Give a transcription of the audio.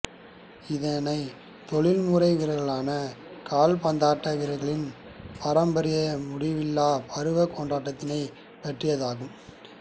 இதனை தொழில்முறை வீரா்களான கால்பந்தாட்ட வீரா்களின் பாரம்பாிய முடிவில்லா பருவ கொண்டாத்தினை பற்றியது